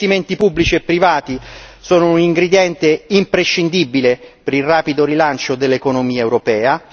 Gli investimenti pubblici e privati sono un ingrediente imprescindibile per il rapido rilancio dell'economia europea.